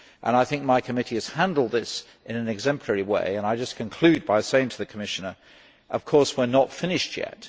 I think my committee has handled this in an exemplary way, and I will just conclude by saying to the Commissioner that, of course, we are not finished yet.